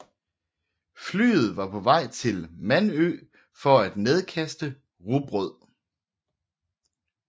Flyet var på vej til Manø for at nedkaste rugbrød